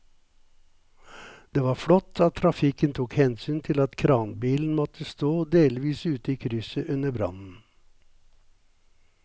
Det var flott at trafikken tok hensyn til at kranbilen måtte stå delvis ute i krysset under brannen.